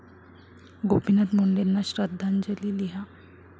गोपीनाथ मुंडेंना श्रद्धांजली लिहा